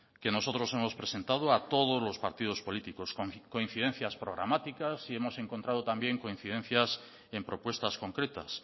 que nosotros hemos presentado a todos los partidos políticos coincidencias programáticas y hemos encontrado también coincidencias en propuestas concretas